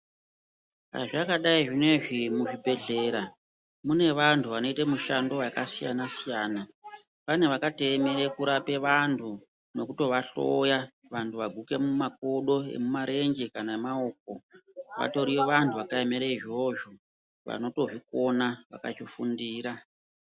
Zvazvakadai zvinoizvi muzvibhedhlera mune vantu vanoita mishando yakasiyana-siyana. Pane vakatoemere kurape vantu nokutovahloya vantu vaguke mumakodo emarenje kana emaoko. Vatori vantu vakaemere izvozvo vanotozvikona vakazvifundira.